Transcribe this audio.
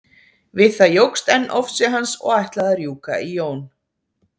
Við það jókst enn ofsi hans og ætlaði að rjúka í Jón.